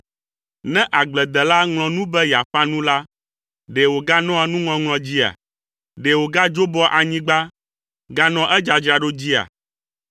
Ne agbledela ŋlɔ nu be yeaƒã nu la, ɖe wòganɔa nuŋɔŋlɔ dzia? Ɖe wògadzoboa anyigba, ganɔa edzadzraɖo dzia?